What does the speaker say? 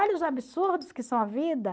Olha os absurdos que são a vida.